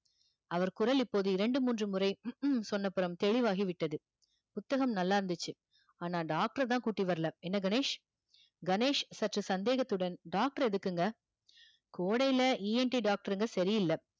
அவர் குரல் இப்போது இரண்டு மூன்று முறை சொன்னப்புறம் தெளிவாகிவிட்டது புத்தகம் நல்லா இருந்துச்சு ஆனால் doctor அ தான் கூட்டி வரலை என்ன கணேஷ் கணேஷ் சற்று சந்தேகத்துடன் doctor எதுக்குங்க கோடையில ENT doctor ங்க சரியில்ல